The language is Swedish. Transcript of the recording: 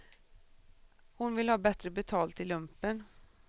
Hon vill ha bättre betalt i lumpen.